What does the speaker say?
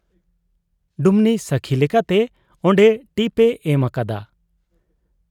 ᱰᱩᱢᱱᱤ ᱥᱟᱹᱠᱷᱤ ᱞᱮᱠᱟᱛᱮ ᱚᱱᱰᱮ ᱴᱤᱯ ᱮ ᱮᱢ ᱟᱠᱟᱫᱟ ᱾